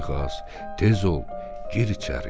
tez ol, gir içəri.